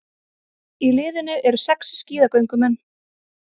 Í liðinu eru sex skíðagöngumenn